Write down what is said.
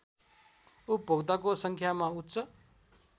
उपभोक्ताको सङ्ख्यामा उच्च